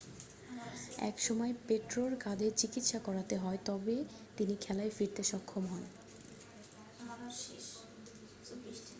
এই সময় পোট্রোর কাঁধে চিকিৎসা করাতে হয় তবে তিনি খেলায় ফিরতে সক্ষম হন